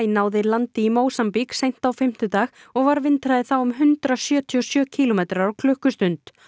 náði landi í Mósambík seint á fimmtudag og var vindhraði þá um hundrað sjötíu og sjö kílómetrar á klukkustund